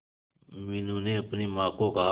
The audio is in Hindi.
मीनू ने अपनी मां को कहा